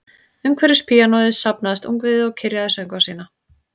Umhverfis píanóið safnaðist ungviðið og kyrjaði söngva sína